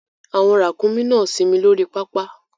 Àwọn ràkúnmí náà ń sinmi lórí pápá